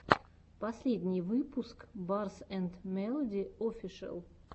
последний выпуск барс энд мелоди офишэл